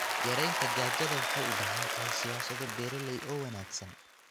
Yaraynta gaajada waxay u baahan tahay siyaasado beeralay oo wanaagsan.